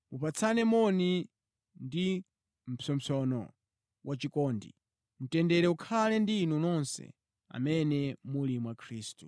Mupatsane moni ndi mpsopsono wachikondi. Mtendere ukhale ndi inu nonse amene muli mwa Khristu.